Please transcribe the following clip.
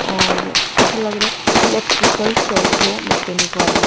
और ऐसा लग रा है इलेक्ट्रिकल शॉप हो मैकेनिक वाली।